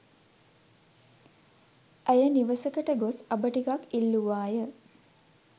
ඇය නිවසකට ගොස් අබ ටිකක් ඉල්ලුවාය.